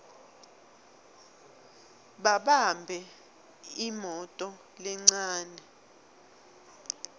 babambe imoto lencane